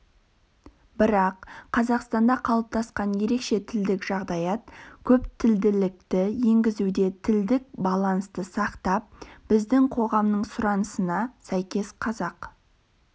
бірақ қазақстанда қалыптасқан ерекше тілдік жағдаят көптілділікті енгізуде тілдік балансты сақтап біздің қоғамның сұранысына сәйкес қазақ